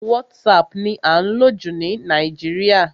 WhatsApp ni à ń lò jù ní Nàìjíríà.